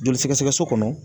Joli sɛgɛsɛgɛ so kɔnɔ.